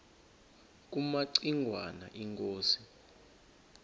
kumaci ngwana inkosi